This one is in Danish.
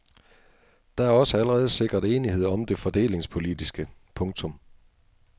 Der er også allerede sikret enighed om det fordelingspolitiske. punktum